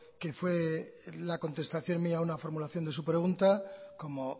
que fue la contestación mía a una formulación de su pregunta como